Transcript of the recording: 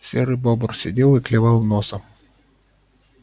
серый бобр сидел и клевал носом